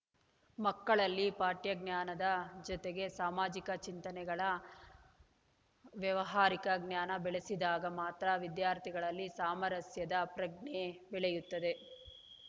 ಮಕ್ಕಳಲ್ಲಿ ಪಠ್ಯ ಜ್ಞಾನದ ಜತೆಗೆ ಸಾಮಾಜಿಕ ಚಿಂತನೆಗಳ ವ್ಯಾವಹಾರಿಕ ಜ್ಞಾನ ಬೆಳೆಸಿದಾಗ ಮಾತ್ರ ವಿದ್ಯಾರ್ಥಿಗಳಲ್ಲಿ ಸಾಮರಸ್ಯದ ಪ್ರಜ್ಞೆ ಬೆಳೆಯುತ್ತದೆ